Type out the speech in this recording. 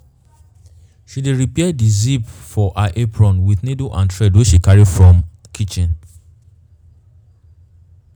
she dey repair di zip for her apron with needle and thread wey she carry from kitchen.